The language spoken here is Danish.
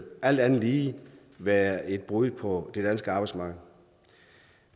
alt andet lige være et brud på det danske arbejdsmarked